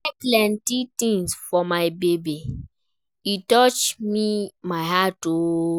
She buy plenty tins for my baby, e touch my heart o.